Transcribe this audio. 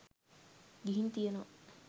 ගිහින් තියෙනවා.